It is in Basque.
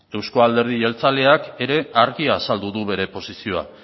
euzko alderdi jeltzaleak ere argi azaldu du bere posizioa